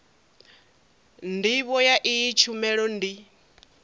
ndivho ya iyi tshumelo ndi